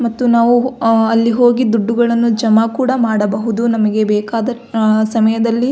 ಮತ್ತು ನಾವು ಅಲ್ಲಿ ಹೋಗಿ ದುಡ್ಡುಗಳನ್ನು ಜಮಾ ಕೂಡ ಮಾಡಬಹುದು ನಮಗೆ ಬೆಕಾದ ಸಮಯದಲ್ಲಿ.